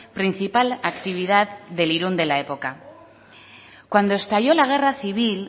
principal actividad del irun de la época cuando estalló la guerra civil